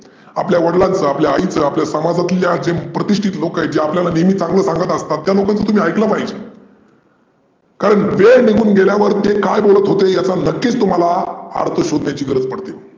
आपल्या वडिलांचा, आपल्या आईचा, आपल्या समाजात जे प्रतिष्टीत लोक आहे जे आपल्याला नेहमी चांगल सांगत असतात त्या लोकांच तुम्ही ऐकल पाहीजे. कारण वेळ निघून गेल्या वरती ते काय बोलत होते याचा नक्कीच तुम्हाला अर्थ शोधन्याची गरज पडते.